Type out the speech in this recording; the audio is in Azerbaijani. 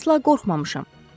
Əsla qorxmamışam.